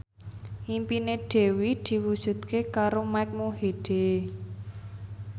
impine Dewi diwujudke karo Mike Mohede